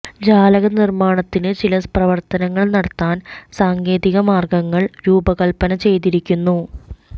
ജാലകനിർമ്മാണത്തിന് ചില പ്രവർത്തനങ്ങൾ നടത്താൻ സാങ്കേതിക മാർഗങ്ങൾ രൂപകൽപ്പന ചെയ്തിരിക്കുന്നു